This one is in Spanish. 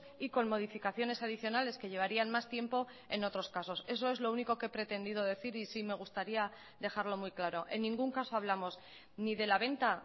y con modificaciones adicionales que llevarían más tiempo en otros casos eso es lo único que he pretendido decir y sí me gustaría dejarlo muy claro en ningún caso hablamos ni de la venta